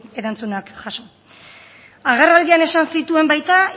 erantzunak jaso agerraldian esan zituen baita